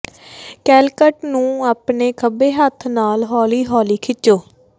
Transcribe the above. collect ਨੂੰ ਆਪਣੇ ਖੱਬੇ ਹੱਥ ਨਾਲ ਹੌਲੀ ਹੌਲੀ ਖਿੱਚੋ